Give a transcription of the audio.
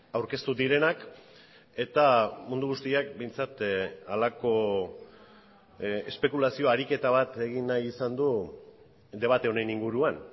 aurkeztu direnak eta mundu guztiak behintzat halako espekulazio ariketa bat egin nahi izan du debate honen inguruan